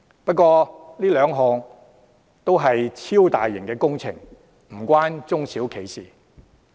不過，這兩項均是超大型工程，與中小企無關。